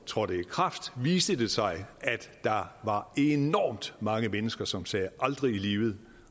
trådte i kraft viste det sig at der var enormt mange mennesker som sagde aldrig i livet